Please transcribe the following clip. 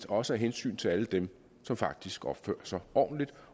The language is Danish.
også af hensyn til alle dem som faktisk opfører sig ordentligt